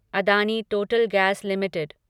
Adani total gas limited